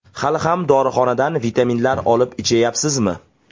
Hali ham dorixonadan vitaminlar olib ichayapsizmi?